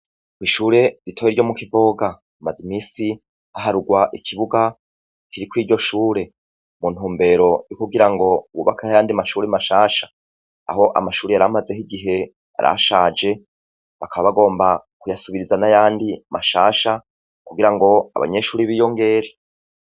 kwishure rito ryo mu kivoga maze imisi haharurwa ikibuga kiri kuri iryo shure mu ntumbero yo kugira ngo hubakwe ayandi mashuri mashasha aho amashuri yari amaze igihe yarashaje bakaba bagomba kuyasubiriza n'ayandi mashasha kugira ngo abanyeshuri biyongere.